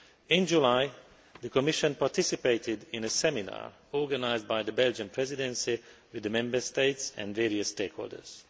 In July, the Commission participated in a seminar organised by the Belgian Presidency with the Member States and various stakeholders.